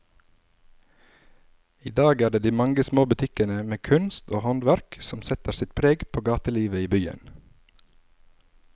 I dag er det de mange små butikkene med kunst og håndverk som setter sitt preg på gatelivet i byen.